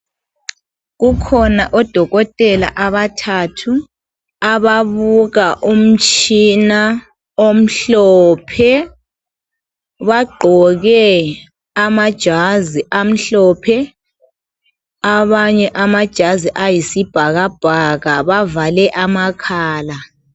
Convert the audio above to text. Kukhona odokotela abathathu, ababuka umtshina omhlophe, bagqoke amajazi amhlophe abanye amajazi ayisibhakabhaka bavale amakhala.